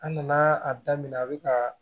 A nana a daminɛ a bɛ ka